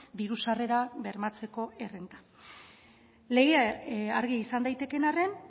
diru sarrerak bermatzeko errenta legea argia izan daitekeen arren